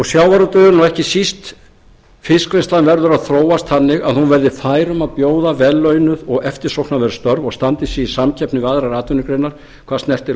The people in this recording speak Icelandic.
sjávarútvegurinn og ekki síst fiskvinnslan verður að þróast þannig að hún verði fær um að bjóða vel launuð og eftirsóknarverð störf og standi sig í samkeppni við aðrar atvinnugreinar hvað snertir